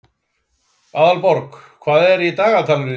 Aðalborg, hvað er í dagatalinu í dag?